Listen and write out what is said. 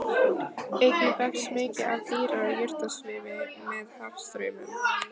Einnig berst mikið af dýra- og jurtasvifi með hafstraumum.